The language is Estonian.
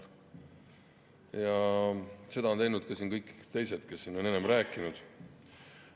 Seda on teinud ka kõik teised, kes on siin enne kõnelenud.